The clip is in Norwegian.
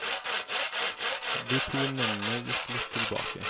De to mennene gikk litt tilbake.